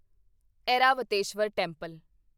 Airavateshwara temple